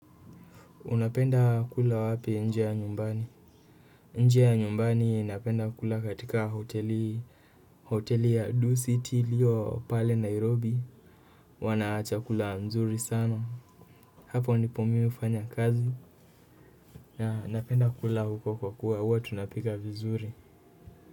Unapenda kula wapi nje ya nyumbani nje nyumbani napenda kula katika hoteli hoteli ya do city ilio pale nairobi wanachakula mzuri sana hapo nipomi ufanya kazi na napenda kula huko kwa kuwa uwa tunapika vizuri.